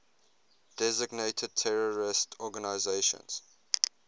designated terrorist organizations